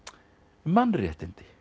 mannréttindi